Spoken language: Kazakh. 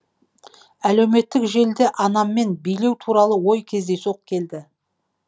әлеуметтік желіде анаммен билеу туралы ой кездейсоқ келді